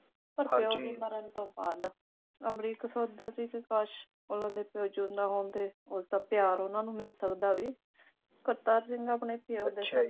ਪਰ ਪਿਉ ਦੇ ਮਰਨ ਤੋਂ ਬਾਅਦ ਅਮਰੀਕ ਸੋਚਦਾ ਸੀ ਕਿ ਕਾਸ਼ ਉਨ੍ਹਾਂ ਦੇ ਪਿਉ ਜਿਉਂਦਾ ਹੁੰਦੇ ਉਸ ਦਾ ਪਿਆਰ ਉਨ੍ਹਾਂ ਨੂੰ ਮਿਲ ਸਕਦਾ ਬਈ ਕਰਤਾਰ ਸਿੰਘ ਆਪਣੇ ਪਿਉ